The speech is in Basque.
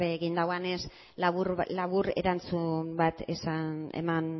ere egin duenez labur erantzun bat eman